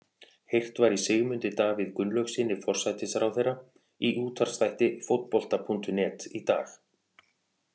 Heyrt var í Sigmundi Davíð Gunnlaugssyni, forsætisráðherra, í útvarpsþætti Fótbolta.net í dag.